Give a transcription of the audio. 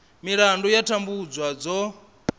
milandu ya u tambudzwa dzo